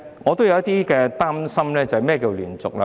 我有點擔心"連續"的規定。